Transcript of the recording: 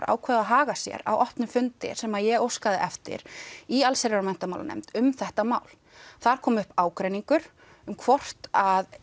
ákváðu að hafa sér á opnum fundi sem ég óskaði eftir í allsherjar og menntamálanefnd um þetta mál þar kom upp ágreiningur um hvort að